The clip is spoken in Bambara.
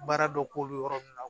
Baara dɔ k'olu yɔrɔ ninnu na